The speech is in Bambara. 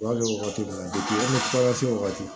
wagati min na an mi fura se wagati